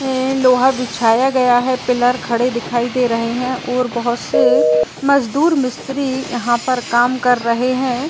ए लोहा बिछाया गया है। पिलर खड़े दिखाइ दे रहे हैं और बोहोत से मजदूर मिस्त्री यहां पर काम कर रहे हैं।